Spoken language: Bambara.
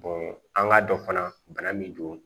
an k'a dɔn fana bana min don